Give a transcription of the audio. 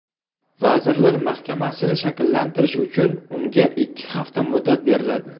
Vazirlar mahkamasini shakllantirish uchun unga ikki hafta muddat beriladi.